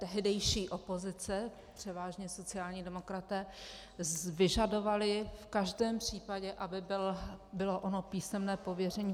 Tehdejší opozice, převážně sociální demokraté, vyžadovali v každém případě, aby bylo ono písemné pověření.